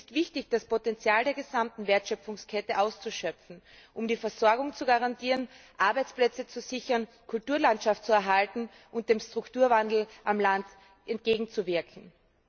Es ist wichtig, das Potenzial der gesamten Wertschöpfungskette auszuschöpfen, um die Versorgung zu garantieren, Arbeitsplätze zu sichern, Kulturlandschaft zu erhalten und dem Strukturwandel am Land entgegenzuwirken.